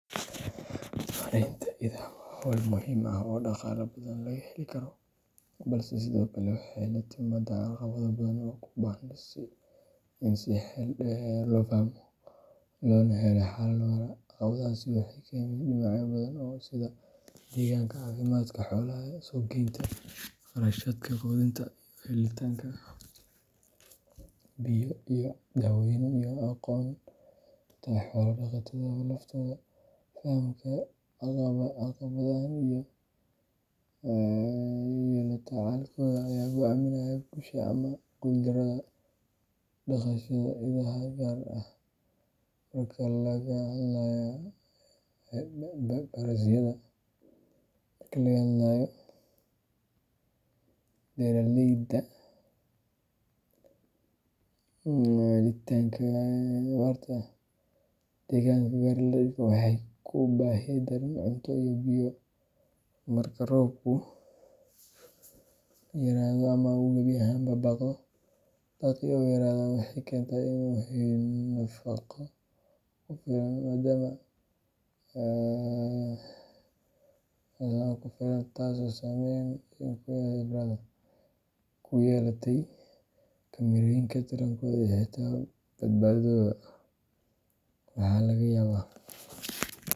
Maareynta idaha waa hawl muhiim ah oo dhaqaale badan laga heli karo, balse sidoo kale waxay la timaaddaa caqabado badan oo u baahan in si xeel dheer loo fahmo loona helo xalal waara. Caqabadahaasi waxay ka yimaadaan dhinacyo badan sida deegaanka, caafimaadka xoolaha, suuq-geynta, kharashaadka quudinta, helitaanka biyo iyo daawooyin, iyo aqoonta xoolo-dhaqatada laftooda. Fahamka caqabadahan iyo la tacaalkooda ayaa go’aaminaya guusha ama guuldarrada dhaqashada idaha, gaar ahaan marka laga hadlayo beeraleyda yar yar ee ku tiirsan xoolaha si ay u daboolaan baahiyahooda maalinlaha ah. Mid ka mid ah caqabadaha ugu weyn waa helitaanka daaq ku filan, gaar ahaan xilliyada abaarta. Degaanka qaar, idaha waxay la kulmaan baahi daran oo cunto iyo biyo ah marka roobku yaraado ama uu gebi ahaanba baaqdo. Daaqii oo yaraada waxay keentaa in iduhu helin nafaqo ku filan, taasoo saameyn ku yeelata korriinkooda, tarankooda, iyo xitaa badbaadadooda. Waxaa laga yaabaa.